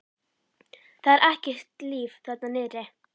Það er ekkert líf þarna niðri.